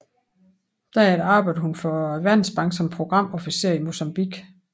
Derefter arbejdede hun for Verdensbanken som programofficer i Mozambique